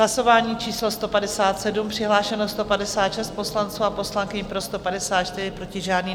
Hlasování číslo 157, přihlášeno 156 poslanců a poslankyň, pro 154, proti žádný.